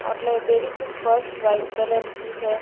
और लाइब्रेरी की फर्श वाइट कलर की हैं।